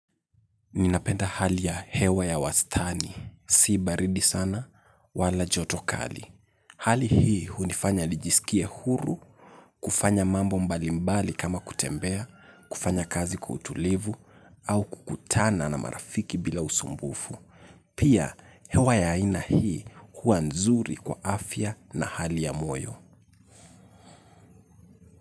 Ninapenda hali ya hewa ya wastani. Si baridi sana wala joto kali. Hali hii hunifanya nijisikie huru, kufanya mambo mbalimbali kama kutembea, kufanya kazi kuutulivu, au kukutana na marafiki bila usumbufu. Pia hewa ya aina hii hua nzuri kwa afya na hali ya moyo.